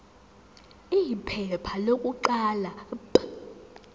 iphepha lokuqala p